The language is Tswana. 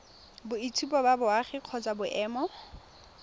boitshupo ba boagi kgotsa boemo